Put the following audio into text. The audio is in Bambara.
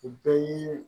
U bɛɛ y'i